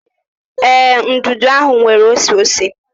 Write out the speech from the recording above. Ee, nudu ahụ nwere oseose.